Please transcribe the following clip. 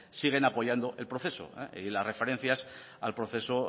siguen apoyando el proceso y las referencias al proceso